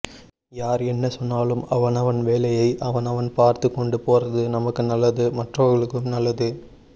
யார் என்ன சொன்னாலும் அவன் அவன் வேலையை அவன் அவன் பார்த்து கொண்டு போறது நமக்கும் நல்லது மற்றவர்களுக்கும் நல்லது